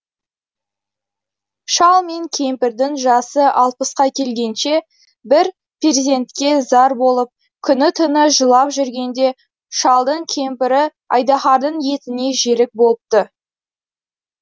шал мен кемпірдің жасы алпысқа келгенше бір перзентке зар болып күні түні жылап жүргенде шалдың кемпірі айдаһардың етіне жерік болыпты